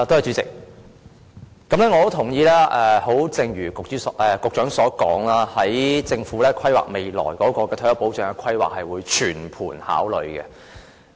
主席，我非常認同局長所說，在政府規劃未來退休保障時，是會作全盤考慮的。